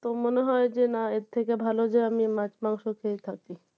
তো মনে হয় যে না এর থেকে ভালো যে আমি মাছ মাংস খেয়ে থাকি